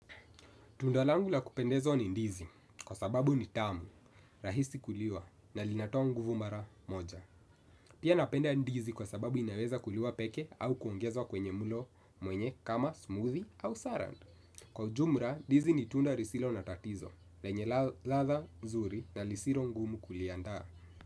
Tunda langu la kupendezwa ni ndizi kwa sababu ni tamu, rahisi kuliwa na linatoa nguvu mara moja. Pia napenda ndizi kwa sababu inaweza kuliwa peke au kuongezwa kwenye mlo mwenye kama smoothie au salad. Kwa ujumla, ndizi ni tunda lisilo na tatizo, lenye ladha nzuri na lisilo ngumu kuliandaa.